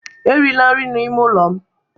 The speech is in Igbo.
erila nri n'ime ụlọ m